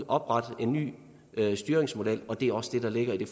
oprette en ny styringsmodel og det er også det der ligger i det